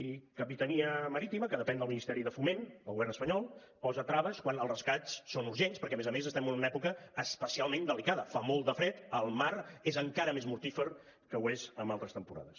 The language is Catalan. i capitania marítima que depèn del ministeri de foment del govern espanyol posa traves quan els rescats són urgents perquè a més a més estem en una època especialment delicada fa molt de fred el mar és encara més mortífer del que ho és en altres temporades